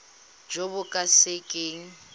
jo bo ka se keng